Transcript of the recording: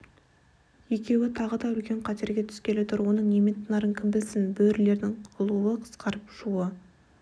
екеуі тағы да үлкен қатерге түскелі тұр оның немен тынарын кім білсін бөрілердің ұлуы қысқарып шуы